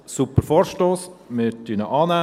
Ein super Vorstoss, wir nehmen ihn an.